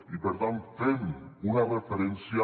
i per tant fem una referència